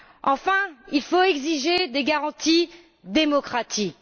Enfin, il faut exiger des garanties démocratiques.